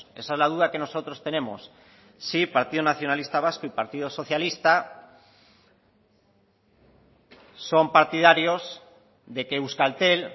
si el partido nacionalista vasco y partido socialista son partidarios de que euskaltel